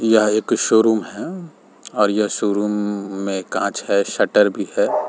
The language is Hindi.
यह एक शोरूम है और यह शोरूम में कांच है शटर भी है।